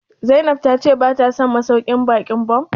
Zainab ta ce bata son masauƙin baƙin Bon?